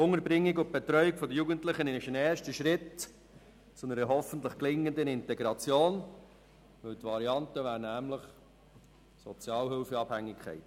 Die Unterbringung und Betreuung der Jugendlichen ist ein erster Schritt zu einer hoffentlich gelingenden Integration, weil die Alternative nämlich Sozialhilfeabhängigkeit bedeutet.